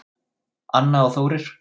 Anna og Þórir.